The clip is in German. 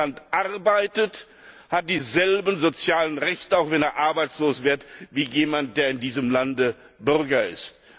Wer in einem Land arbeitet, hat dieselben sozialen Rechte, auch wenn er arbeitslos wird, wie jemand, der in diesem Lande Bürger ist.